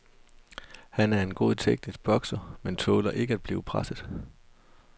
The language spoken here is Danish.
Han er en god teknisk bokser, men tåler ikke at blive presset.